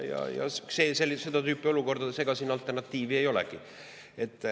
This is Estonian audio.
Ega seda tüüpi olukordades alternatiivi ei olegi.